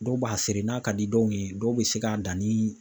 Dɔw b'a seren n'a ka di dɔw ye dɔw bɛ se k'a dan ni